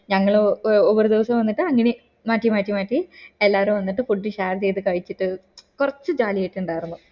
ഞങ്ങള് ഓ ഒറു ദിവസം വന്നിട്ട് അങ്ങനെ മാറ്റി മാറ്റി മാറ്റി എല്ലാരും വന്നിട്ട് food share ചെയ്ത് കഴിച്ചിട്ട് കൊറച്ച് jolly ഒക്കെ ഇണ്ടായിരുന്നു